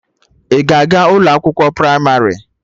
Ị ga-aga ụlọ akwụkwọ pramarị?